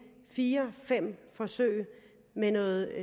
fire fem forsøg med noget